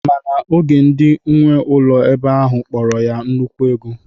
Mana oge ndị nwe ụlọ ebe ahụ kpọrọ ya nnukwu ego.